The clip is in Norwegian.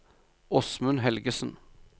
Åsmund Helgesen